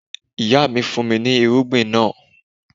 Ìyá mi fún mi ní irúgbìn náà.